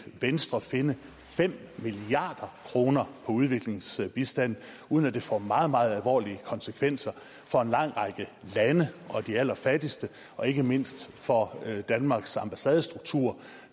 venstre finde fem milliard kroner på udviklingsbistanden uden at det får meget meget alvorlige konsekvenser for en lang række lande og de allerfattigste og ikke mindst for danmarks ambassadestruktur